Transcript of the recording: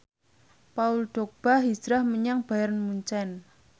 Paul Dogba hijrah menyang Bayern Munchen